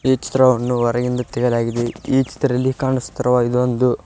ಈ ಚಿತ್ರವನ್ನು ಹೊರಗಿಂದ ತೆಗೆಯಲಾಗಿದೆ ಈ ಚಿತ್ರದಲ್ಲಿ ಕಾಣುತ್ತಿರುವುದೊಂದು.